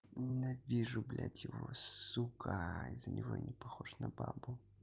ненавижу блядь его сука из-за него я не похож на бабу